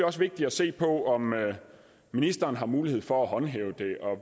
også vigtigt at se på om ministeren har mulighed for at håndhæve det